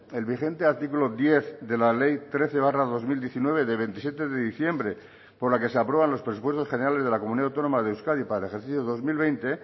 el vigente artículo diez de la ley trece barra dos mil diecinueve de veintisiete de diciembre por la que se aprueban los presupuestos generales de la comunidad autónoma de euskadi para el ejercicio dos mil veinte